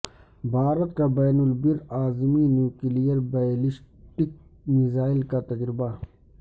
بھارت کا بین البراعظمی نیوکلیئر بیلسٹک میزائل کا تجربہ